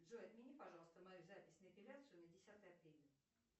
джой отмени пожалуйста мою запись на эпиляцию на десятое апреля